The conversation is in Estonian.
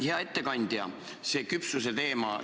Hea ettekandja!